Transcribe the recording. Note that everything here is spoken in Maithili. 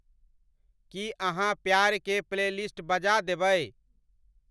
की अहाँप्यार के प्लेलिस्ट बजा देबई